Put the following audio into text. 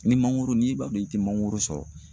Ni mangoro n'i b'a dɔn i tɛ mangoro sɔrɔ.